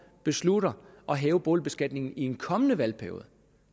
beslutter at hæve boligbeskatningen i en kommende valgperiode